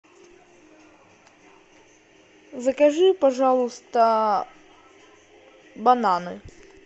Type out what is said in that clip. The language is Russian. закажи пожалуйста бананы